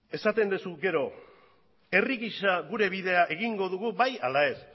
esaten duzu gero herri gisa gure bidea egingo dugu bai ala ez